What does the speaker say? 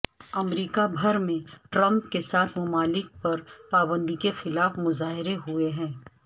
امریکہ بھر میں ٹرمپ کے سات ممالک پر پابندی کے خلاف مظاہرے ہوئے ہیں